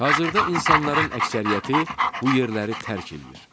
Hazırda insanların əksəriyyəti bu yerləri tərk eləyir.